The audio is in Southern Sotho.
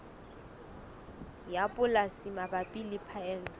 ya polasi mabapi le phaello